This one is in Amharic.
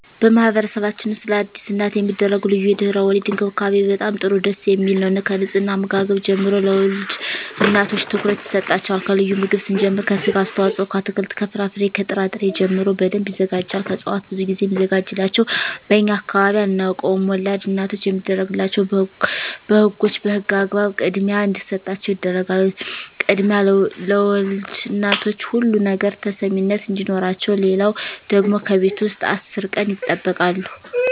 በማህበረሰብችን ውስጥ ለአዲስ እናት የሚደረጉ ልዩ የድህረ _ወሊድ እንክብካቤ በጣም ጥሩ ደስ የሚል ነው ከንጽሕና ከአመጋገብ ጀምሮ ለወልድ እናቶች ትኩረት ይሰጣቸዋል ከልዩ ምግብ ስንጀምር ከስጋ አስተዋጽኦ ከአትክልት ከፍራፍሬ ከጥራ ጥሪ ጀምሮ በደንብ ይዘጋጃል ከእጽዋት ብዙ ግዜ ሚዘጋጅላቸው በእኛ አካባቢ አናውቀውም ወላድ እናቶች የሚደረግላቸው በህጎች በህግ አግባብ ክድሚያ እንዲሰጣቸው ይደረጋል ክድሚያ ለወልድ እናቶች ሁሉ ነገር ተሰሚነት አዲኖረቸው ሌለው ደግሞ ከቤት ውስጥ አስር ቀን ይጠበቃሉ